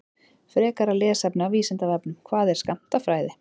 Frekara lesefni af Vísindavefnum: Hvað er skammtafræði?